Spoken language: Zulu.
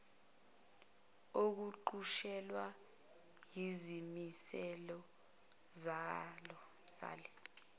okuqutshulwa yizimiselo zale